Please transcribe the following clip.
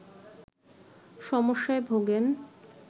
সমস্যায় ভোগেন